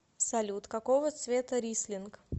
салют какого цвета рислинг